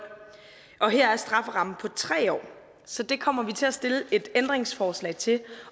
og her er strafferammen på tre år så det kommer vi til at stille et ændringsforslag til